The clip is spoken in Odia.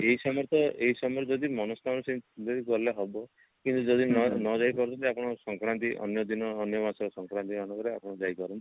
ଏଇ ସମୟରେ ତ ଏଇ ସମୟରେ ଯଦି ମନସ୍କାମନା ଯଦି ଗଲେ ହବ କିନ୍ତୁ ଯଦି ନ ନଯାଇ ପାରୁଛନ୍ତି ଆପଣ ସଂକ୍ରାନ୍ତି ଅନ୍ୟ ଦିନଅନ୍ୟ ମାସ ସଂକ୍ରାନ୍ତି ଆପଣ ଯାଇପାରନ୍ତି